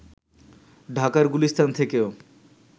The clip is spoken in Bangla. ঢাকার গুলিস্তান থেকেও